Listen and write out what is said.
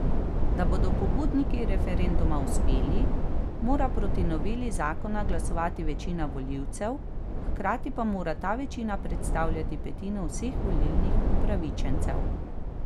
Da bodo pobudniki referenduma uspeli, mora proti noveli zakona glasovati večina volilcev, hkrati pa mora ta večina predstavljati petino vseh volilnih upravičencev.